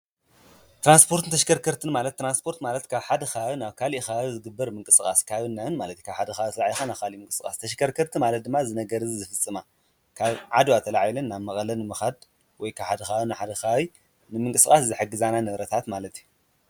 ትራንስፖርትን ተሽከርከርትን ማለት ተራንስፖርት ማለትከ ሓደ ኸባቢ ናብ ካልእ ከባቢ ዝግበር ምንቅጽቓስ ካብን ናብን ማለት እዩ፡፡ ካብ ሓደ ከባቢ ኣተልኢልኻ ናብ ኻልእ ምንቅስቓስ ተሽከርከርቲ ማለት ድማ እዚ ነገር እዚ ዝፍፅማ፡፡ ካብ ዓድዋ ተላዒለን ናብ መቐለ ንምኻድ ወይ ሓደ ኸባቢ ናብ ሓደ ከባቢ ንምንቅስቓስ ዝሐግዛና ንብረታት ማለት እዩ፡፡